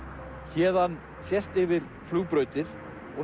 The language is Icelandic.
héðan sést yfir flugbrautir og